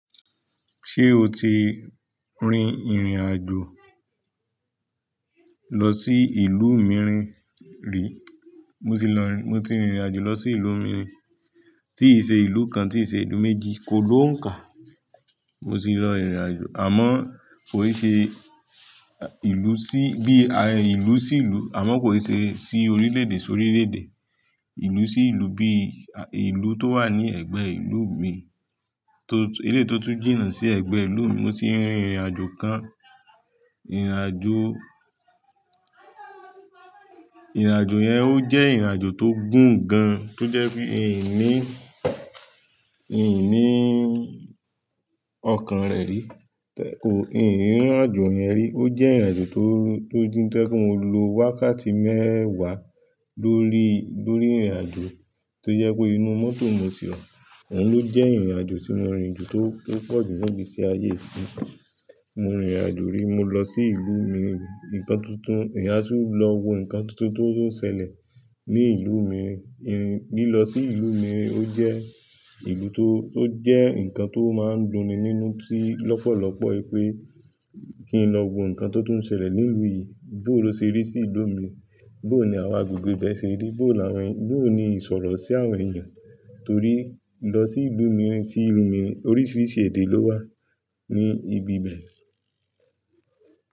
Ṣé o ti rin ìrìn àjò lọ sí ìlú mìíràn rí? Mo ti lọ, mo ti rìnrìn àjò lọ sí ìlú mìíràn ri. Tíì ṣe ìlú kan, tí ì ṣe ìlú méjì, kò lọ nka. Mo ti lọ ìrìn àjò, àmọ́ kò ì ṣe, ìlú sí bí ìlú sí ìlú àmọ́ kò ì ṣe sí orílẹ̀ èdè sí orílẹ̀ èdè. Ìlú sí ìlú bíi ìlú tó wà ní ẹ̀gbẹ́ ìlú mi. Tó, eléyìí tó tún jìnà sí ẹ̀gbẹ́ ìlú mi mo ti rin ìrìnàjò kan. Ìrìn àjò, ìrìn àjò yẹn ó jẹ́ ìrìn àjò tó gùn gan, tó jẹ́ pé n ò ní, n ò ní ọkàn rẹ̀ rí. Ò, n rìn ìrìn àjò yẹn rí. Ó jẹ́ ìrìn àjò tó, tó dín, tó jẹ́ kí n lo wákàtí mẹ́wà lórí, lórí ìrìn àjò. Tó jẹ́ pé inú mọ́tò mo sì wa. Òun ló jẹ́ ìrìnàjò tí mo rin ju tó pọ̀ jù ní ìgbésí ayé yìí. Mo rìnrìn àjò rí, mo lọ sí ìlú mìí rìnl. Ǹkan tuntun, èyán a tún lọ wo ǹkan tuntun tó ń ṣẹlẹ̀ ní ìlú mìíràn. Lílọ sí ìlú mìí ó jẹ́ ǹkan tó máa ń dunni nínú lọ́pọ̀lọpọ̀ wípé kí n lọ wo ǹkan tó tún ṣẹlẹ̀ ní ìlú mìí, bóo ló ṣe rí sí ìlú mìí, bóo l'àwọn agbègbè ibẹ̀ ṣe rí bóò ni àwọn, bóò ni ìsọ̀rọ̀ sí àwọn èèyàn? Torí lọ sí ìlú mìírìn, sí ìlú mìírìn oríṣiríṣi èdè ló wà ní ibi bẹ̀.